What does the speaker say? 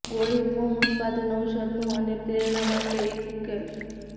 ગોળી ફોર્મ ઉત્પાદન ઔષધનો અને પ્રેરણા માટે એક ઉકેલ